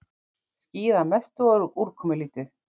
Skýjað að mestu og úrkomulítið